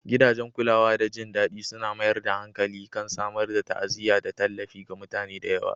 Gidajen kulawa da jin daɗi suna mayar da hankali kan samar da ta'aziyya da tallafi ga mutanen da yawa